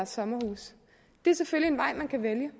sommerhuse det er selvfølgelig en vej man kan vælge